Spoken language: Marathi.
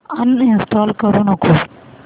अनइंस्टॉल करू नको